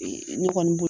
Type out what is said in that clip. Ne kɔni bolo